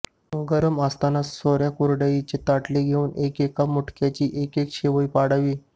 गरम असतानाच सोऱ्यात कुरडईची ताटली घालून एकेका मुटक्याची एकेक शेवई पाडावी